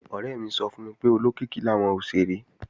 Ọ̀rẹ́ mi sọ fún mi pé olókìkí làwọn òṣèré